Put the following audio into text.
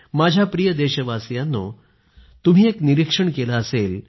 माझ्या प्रिय देशवासीयांनो तुम्ही एक निरीक्षण केलं असेल